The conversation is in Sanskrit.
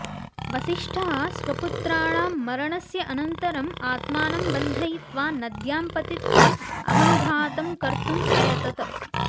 वसिष्ठः स्वपुत्राणां मरणस्य अनन्तरम् आत्मानं बन्धयित्वा नद्यां पतित्वा अहङ्घातं कर्तुम् अयतत